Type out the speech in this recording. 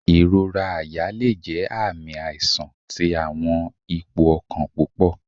Ìrora àyà le jẹ aami aisan ti awọn ipo ọkan pupọ